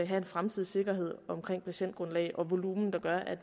have en fremtidig sikkerhed omkring patientgrundlaget og volumenet der gør at